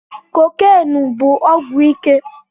Kokènụ bụ ọgwụ ike